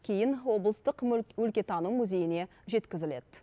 кейін облыстық өлкетану музейіне жеткізіледі